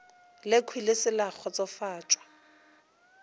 lekhwi le se la kgotsofatšwa